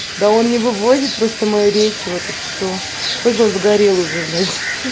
да он не вывозит просто моей речи вот и всё хоть бы сгорел уже блять ха